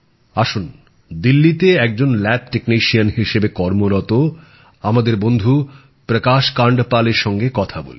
আসুন দিল্লিতে একজন ল্যাব টেকনিশিয়ান হিসেবে কর্মরত আমাদের বন্ধু প্রকাশ কান্ডপালের সঙ্গে কথা বলি